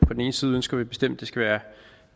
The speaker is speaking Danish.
på den ene side ønsker vi bestemt at det skal være